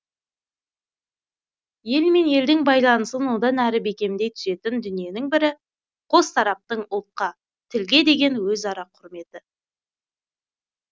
ел мен елдің байланысын одан әрі бекемдей түсетін дүниенің бірі қос тараптың ұлтқа тілге деген өзара құрметі